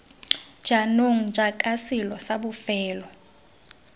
jaanong jaaka selo sa bofelo